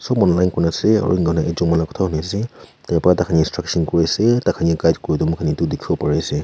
on line kuna ase on kane ekjon manu kotha huni ase tai pa dikhai instructions kuri se tai khan lah guide kura tu moi khan etu dikhi bo pare ase.